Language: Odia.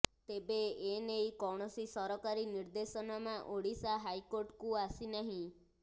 ତେବେ ଏନେଇ କୌଣସି ସରକାରୀ ନିର୍ଦ୍ଦେଶନାମା ଓଡିଶା ହାଇକୋର୍ଟକୁ ଆସିନାହିଁ